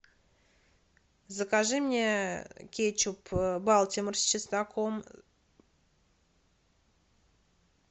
закажи мне кетчуп балтимор с чесноком